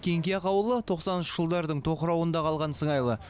кеңқияқ ауылы тоқсаныншы жылдардың тоқырауында қалған сыңайлы